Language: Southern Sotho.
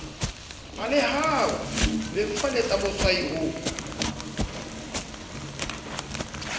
balehang ho bebofaletsa motshwai ho